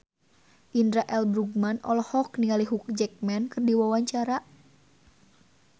Indra L. Bruggman olohok ningali Hugh Jackman keur diwawancara